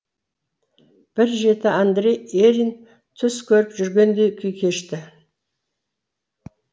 бір жеті андрей ерин түс көріп жүргендей күй кешті